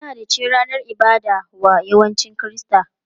Lahadi ce ranar ibada wa yawancin Kirista.